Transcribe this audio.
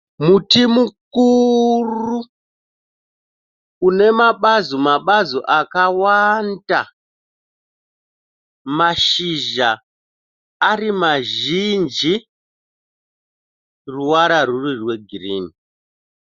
Muti mukuru unemabazi - mabazi akawanda mashizha arimazhinji ruvara ruri rwegirini.